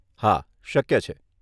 હા, શક્ય છે.